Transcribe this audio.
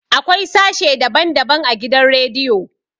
Akwai sashe daban daban a gidan radiyo